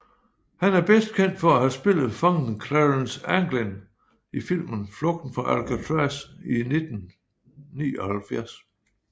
Han er bedst kendt for at have spillet fangen Clarence Anglin i filmen Flugten fra Alcatraz i 1979